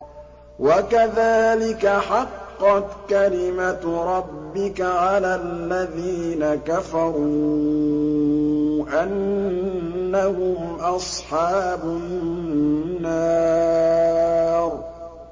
وَكَذَٰلِكَ حَقَّتْ كَلِمَتُ رَبِّكَ عَلَى الَّذِينَ كَفَرُوا أَنَّهُمْ أَصْحَابُ النَّارِ